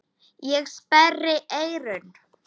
Ég sperri eyrun.